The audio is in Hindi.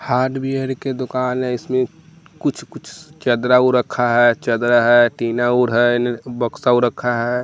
हार्डवेयर के दुकान है इसमें कुछ कुछ चदरा उ रखा है चदरा है टीना उर है एने बक्सा उ रखा है।